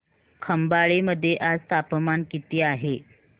खंबाळे मध्ये आज तापमान किती आहे